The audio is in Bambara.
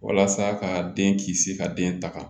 Walasa ka den kisi ka den tanga